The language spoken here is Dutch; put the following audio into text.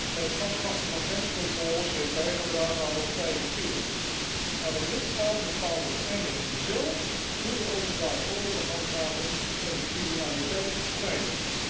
En het afschaffen van grenscontroles heeft bijgedragen aan dat vrije verkeer. Maar een lidstaat bepaalt uiteindelijk zelf hoe hij de openbare orde wil handhaven en de criminaliteit bestrijden.